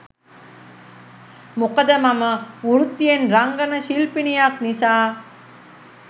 මොකද මම වෘත්තියෙන් රංගන ශිල්පිනියක් නිසා.